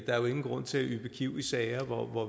ingen grund til at yppe kiv i sager hvor